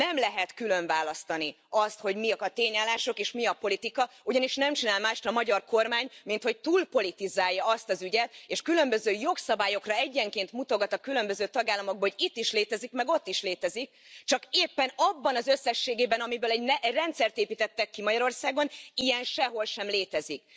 Nem lehet különválasztani azt, hogy mik a tényállások és mi a politika, ugyanis nem csinál mást a magyar kormány, minthogy túlpolitizálja azt az ügyet, és különböző jogszabályokra egyenként mutogat a különböző tagállamokból, hogy itt is létezik, meg ott is létezik, csak éppen abban az összességében, amiből egy rendszert építettek ki Magyarországon, ilyen sehol sem létezik.